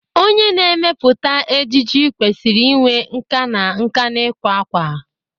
Onye na-emepụta ejiji kwesịrị inwe nkà na nkà n'ịkwa akwa.